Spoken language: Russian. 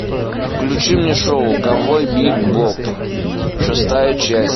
включи мне шоу ковбой бибоп шестая часть